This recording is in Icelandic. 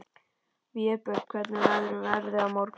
Vébjörn, hvernig verður veðrið á morgun?